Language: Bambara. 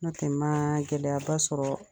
No tɛ ma gɛlɛya ba sɔrɔ